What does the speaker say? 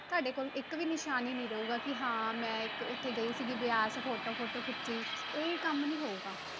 ਤੁਹਾਡੇ ਕੋਲ ਇੱਕ ਵੀ ਨਿਸ਼ਾਨ ਨੀ ਰਹੂਗਾ ਕਿ ਹਾਂ ਮੈਂ ਇੱਕ ਉੱਥੇ ਗਈ ਸੀਗੀ ਬਿਆਸ photo photo ਖਿੱਚੀ ਇਹ ਕੰਮ ਨੀ ਹੋਊਗਾ।